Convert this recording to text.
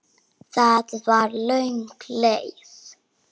Það var löng leið.